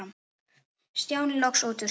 Stjáni loks út úr sér.